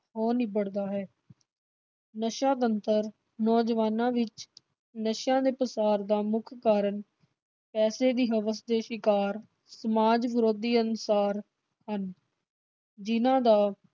ਹੋ ਨਿਬੜਦਾ ਹੈ। ਨਸ਼ਾ ਬਣਤਰ ਨੌਜਵਾਨਾਂ ਵਿਚ ਨਸ਼ਿਆਂ ਦੇ ਪਸਾਰ ਦਾ ਮੁੱਖ ਕਾਰਨ ਪੈਸਾ ਦੀ ਹਵਸ ਦੇ ਸ਼ਿਕਾਰ ਸਮਾਜ ਵਿਰੋਧੀ ਹਨ। ਜਿਨ੍ਹਾਂ ਦਾ